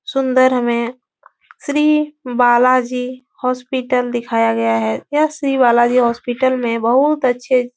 सुंदर हमे श्री बाला जी हॉस्पिटल दिखाया गया है। यह श्री बाला जी हॉस्पिटल मे बहुत अच्छे --